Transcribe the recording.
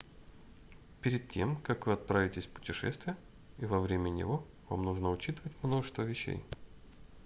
перед тем как вы отправитесь в путешествие и во время него вам нужно учитывать множество вещей